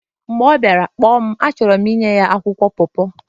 mgbe ọ bịara, kpọọ m achọrọ m inye ya akwụkwọ paw paw